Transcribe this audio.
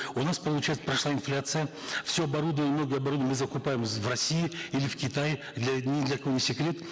у нас получается прошла инфляция все оборудование многое оборудование мы закупаем в россии или в китае для ни для кого не секрет